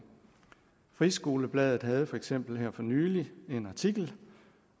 friskolebladet havde for eksempel for nylig en artikel